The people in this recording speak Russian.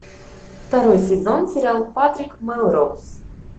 второй сезон сериал патрик мелроуз